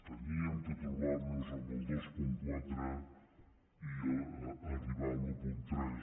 havíem de trobar nos amb el dos coma quatre i arribar a l’un coma tres